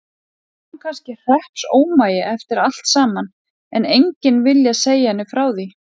Var hún kannski hreppsómagi eftir allt saman, en enginn viljað segja henni frá því?